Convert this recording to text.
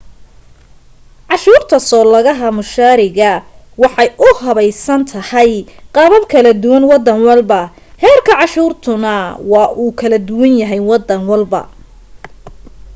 canshuurta soo lagaha mushaariga waxa ay u habeysan tahay qaabab kala duwan waddan walba heerka canshuurtuna waa uu kala duwan yahay wadan walba